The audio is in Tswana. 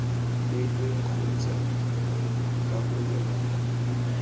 beilweng kgotsa ii karolo nngwe